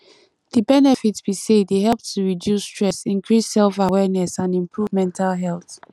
di benefit be say e dey help to reduce stress increase selfawareness and improve mental health